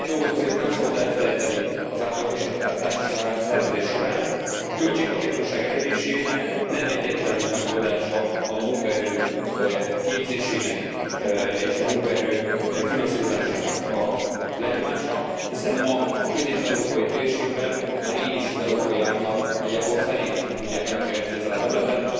Egy dolgot azért nem szabad elfelejteni az átalakítás és az átszervezés során a költséghatékonyság elérésének nem egyetlen megoldása a munkaerő képzésének és a munkaerő finanszírozásának a lenyomása, hiszen ma a közép európai térségben már így is az európai átlag nagyjából felét tudják megkeresni ezen a területen.